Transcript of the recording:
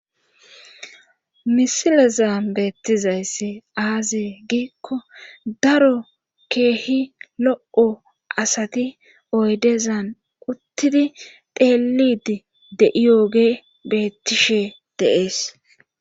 Misilezaa beettizayssi aazee giikko daro keehi lo7o asati oydezan uttidi teelidi de7iyooge bettishe deees.